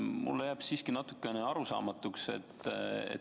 Mulle jääb natuke arusaamatuks.